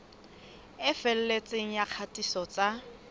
e felletseng ya kgatiso tsa